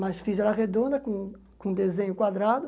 Mas fiz ela redonda, com com desenho quadrado.